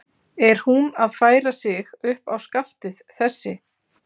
Er hún að færa sig upp á skaftið, þessi?